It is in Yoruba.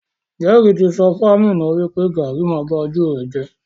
Jerry ti sọ fún Aminat wipe garri ma ba ojú rẹ jẹ.